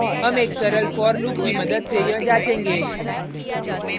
हम एक सरल for loop की मदद से यह जांचेंगे